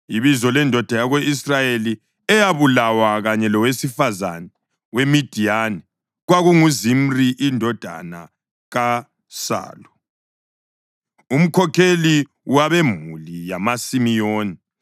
Ibizo lendoda yako-Israyeli eyabulawa kanye lowesifazane weMidiyani kwakunguZimri indodana kaSalu, umkhokheli wabemuli yamaSimiyoni.